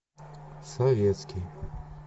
советский